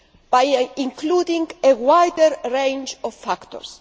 by including a wider range of factors.